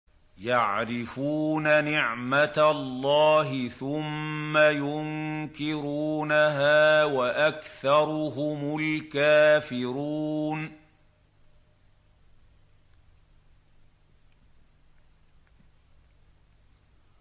يَعْرِفُونَ نِعْمَتَ اللَّهِ ثُمَّ يُنكِرُونَهَا وَأَكْثَرُهُمُ الْكَافِرُونَ